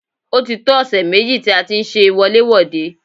Ó ti tó ọ̀sẹ̀ méjì tí a ti ń ṣe wọlé-wòde.